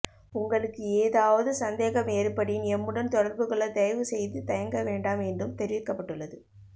உங்களுக்கு ஏதாவது சந்தேகம் ஏற்படின் எம்முடன் தொடர்புகொள்ள தயவூசெய்து தயங்க வேண்டாம் என்றும் தெரிவிக்கப்பட்டுள்ளது